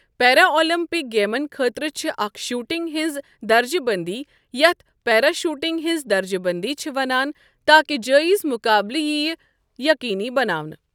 پیرا Olympic گیمَن خٲطرٕ چھِ اکھ شوٹنگ ہنٛز درجہٕ بندی یتھ پیرا شوٹنگ ہنٛز درجہٕ بندی چھِ وَنان تاکہ جایز مقابٕلہٕ یِیہِ یقینی بناونہٕ۔